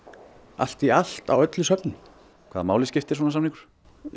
allt í allt á öllum söfnum hvaða máli skiptir svona samningur